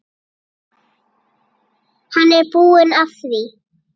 Hann er búinn að því.